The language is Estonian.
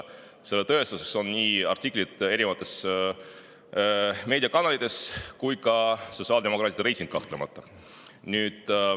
Selle tõestuseks on nii artiklid erinevates meediakanalites kui ka sotsiaaldemokraatide reiting, kahtlemata.